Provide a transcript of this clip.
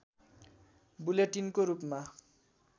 बुलेटिनको रूपमा